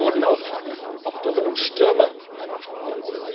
Insbesondere wurden auch Dürren und Stürme angesprochen.